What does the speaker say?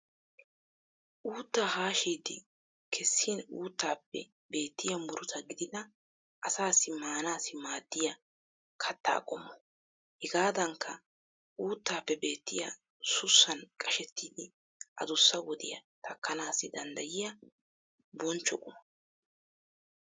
Uutta haashidi kessin uuttaappe beettiya muruta gididi asaassi maanaassi maaddiya katta qommo. Hegaadankka uuttaappe beettiya sussan qashettidi adussa wodiya takkanaassi danddayiya bonchcho quma.